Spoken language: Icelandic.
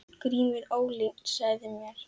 GRÍMUR: Ólyginn sagði mér.